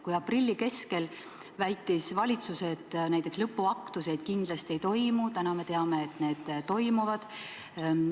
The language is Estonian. Kui aprilli keskel väitis valitsus, et näiteks lõpuaktuseid kindlasti ei toimu, siis täna me teame, et need toimuvad.